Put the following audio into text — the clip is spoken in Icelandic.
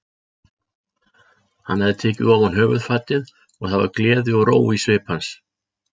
Hann hafði tekið ofan höfuðfatið og það var gleði og ró í svip hans.